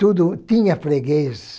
Tudo tinha freguês